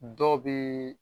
Dɔw bɛ.